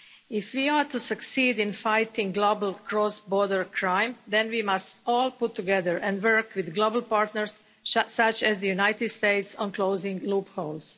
If we are to succeed in fighting global cross border crime, then we must all pull together and work with global partners, such as the United States, on closing loopholes.